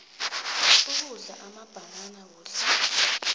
ukudla amabhanana kuhle